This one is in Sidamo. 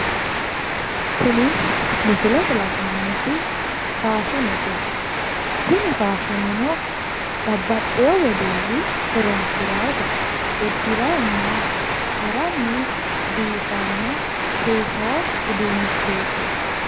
tini misilete la'neemmoti faashinete, tini faashineno babaxewo wedelli horonsiraate uddiranina haranni biifanni seesawo uduunnichooti.